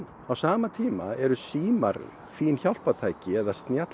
á sama tíma eru símar fín hjálpartæki